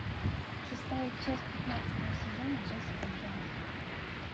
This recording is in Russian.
шестая часть пятнадцатого сезона джессика джонс